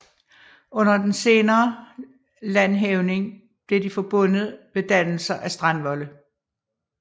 Under den senere landhævning blev de forbundet ved dannelser af strandvolde